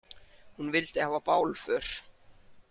Hún vildi hafa bálför.